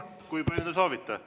Kui palju te soovite?